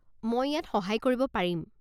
মই ইয়াত সহায় কৰিব পাৰিম।